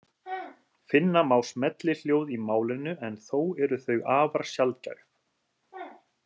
Finna má smellihljóð í málinu en þó eru þau afar sjaldgæf.